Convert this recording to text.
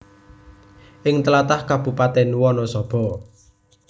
Ing tlatah Kabupatèn Wanasaba